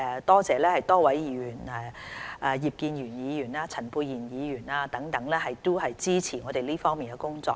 多謝多位議員包括葉建源議員和陳沛然議員等支持我們這方面的工作。